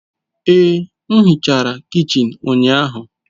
Ee, m hichara kichin ụnyahụ